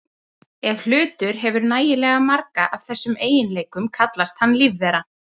Ef hlutur hefur nægilega marga af þessum eiginleikum kallast hann lífvera.